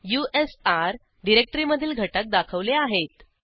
usr डिरेक्टरीमधील घटक दाखवले आहेत